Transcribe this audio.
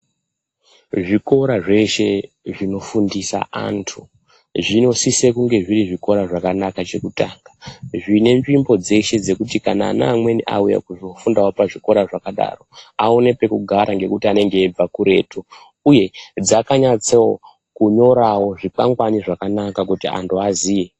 Zvikora zveshe zvinofundisa antu zvinosise kunge zviri zvikora zvakanaka chekutanga, zvine nzvimbo dzekuti kana ana amweni auya kuzofundawo pazvikora zvakadaro awone pekugara ngekuti anenge eibva kuretu, uye dzakanatsa kunyorawo zvikwangwani zvakanaka kuti antu aziye.